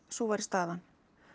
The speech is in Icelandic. sú væri staðan